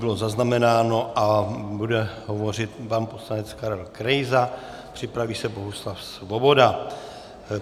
Bylo zaznamenáno a bude hovořit pan poslanec Karel Krejza, připraví se Bohuslav Svoboda.